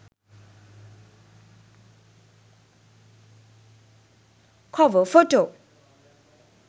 cover photo